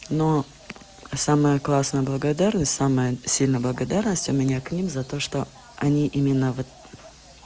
но самое классное благодарность самая сильная благодарность у меня к ним за то что они именно вот